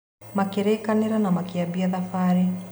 Makĩrĩkanĩra na makĩambia thabarĩ.